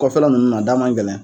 Kɔfɛla ninnu na a da man gɛlɛn.